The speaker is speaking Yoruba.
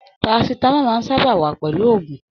Parasitamọ máa n sábà wà pẹlú gbogbo ògùn.